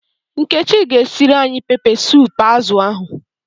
Nkechi g'esiri anyi pepe sup azu ahu